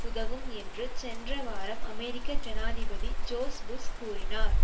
உதவும் என்று சென்ற வாரம் அமெரிக்க ஜனாதிபதி ஜோர்ஜ் புஷ் கூறினார்